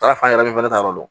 Taara fan yɛrɛ fɛnɛ ta yɔrɔ dɔn